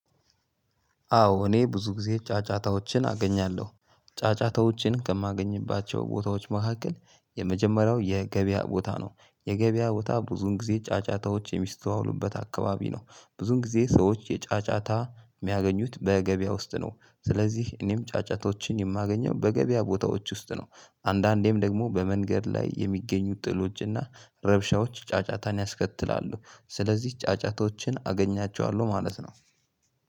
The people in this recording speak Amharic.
አዎ እኔ ብዙ ጊዜ ጫጫታዎችን አገኛለሁ። ጫጫታዎችን ከማገኝባቸው ቦታዎች መካከል የመጀመሪያው የገበያ ቦታ ነው። የገበያ ቦታ ብዙውን ጊዜ ጫጫታዎች የሚስተዋሉበት አካባቢ ነው። ብዙን ጊዜ ሰዎች የጫጫታ ሚያገኙት በገበያ ውስጥ ነው። ስለዚህ እኔም ጫጫታዎችን የማገኘው በገበያ ቦታዎች ውስጥ ነው። አንዳንዴም ደግሞ በመንገድ ላይ የሚገኙ ጥሎች እና ረብሻዎች ጫጫታን ያስከትላሉ። ስለዚህ ጫጫታዎችን አገኛቸዋለሁ ማለት ነው።